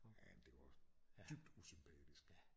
Men det var dybt usympatisk